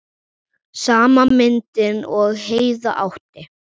Sama myndin og Heiða átti.